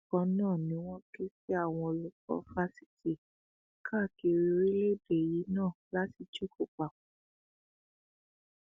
bákan náà ni wọn ké sí àwọn olùkọ fásitì káàkiri orílẹèdè yìí náà láti jókò papọ